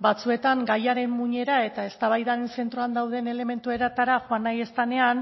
batzuetan gaiaren muinera eta eztabaidan zentroan dauden elementuetara joan nahi ez denean